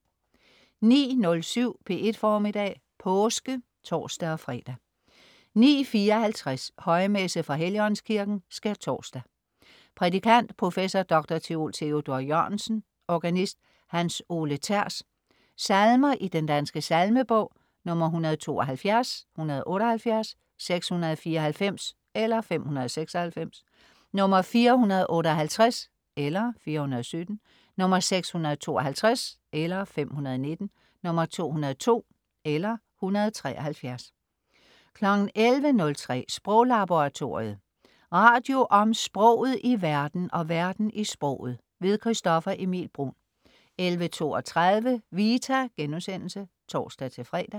09.07 P1 Formiddag. Påske (tors-fre) 09.54 Højmesse fra Helligåndskirken. (Skærtorsdag).Prædikant: professor, dr. theol Theodor Jørgensen. Organist: Hans Ole Thers. Salmer i Den Danske Salmebog: 172. 178. 694 (596). 458 (417). 652 (519). 202 (173). 11.03 Sproglaboratoriet. Radio om sproget i verden og verden i sproget. Christoffer Emil Bruun 11.32 Vita* (tors-fre)